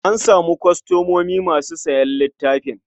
An samu kwastomomi masu sayan littafin.